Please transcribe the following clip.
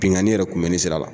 Binnkanni yɛrɛ kunbɛnni sira la